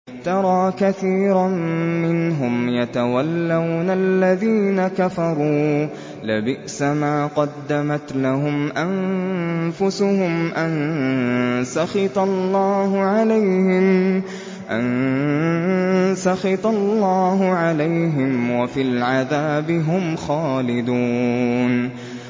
تَرَىٰ كَثِيرًا مِّنْهُمْ يَتَوَلَّوْنَ الَّذِينَ كَفَرُوا ۚ لَبِئْسَ مَا قَدَّمَتْ لَهُمْ أَنفُسُهُمْ أَن سَخِطَ اللَّهُ عَلَيْهِمْ وَفِي الْعَذَابِ هُمْ خَالِدُونَ